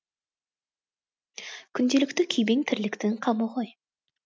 күнделікті күйбең тірліктің қамы ғой